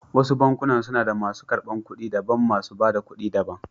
Wasu bankunan suda masu ƙarbar ƙuɗi daban, masu ba da ƙuɗi da ban.